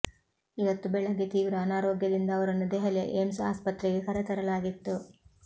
ಇವತ್ತು ಬೆಳಗ್ಗೆ ತೀವ್ರ ಅನಾರೋಗ್ಯದಿಂದಾಗಿ ಅವರನ್ನು ದೆಹಲಿಯ ಏಮ್ಸ್ ಆಸ್ಪತ್ರೆಗೆ ಕರೆತರಲಾಗಿತ್ತು